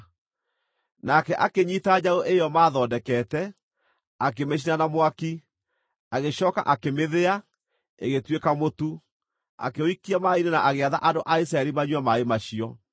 Nake akĩnyiita njaũ ĩyo maathondekete, akĩmĩcina na mwaki, agĩcooka akĩmĩthĩa, ĩgĩtuĩka mũtu, akĩũikia maaĩ-inĩ na agĩatha andũ a Isiraeli manyue maaĩ macio.